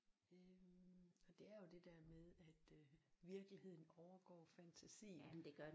Øh og det er jo det der med at øh virkeligheden overgår fantasien